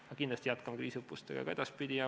Aga kindlasti jätkame ühisõppustega ka edaspidi.